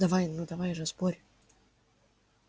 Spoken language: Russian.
давай ну давай же спорь